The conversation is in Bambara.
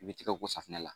I bɛ tɛgɛ ko safinɛ la